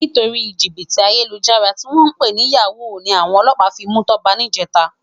Nitóri jibiti àyélújàrá tiwòn pé ni yàwú ni áwòn òlòpá fi mú Toba nijètá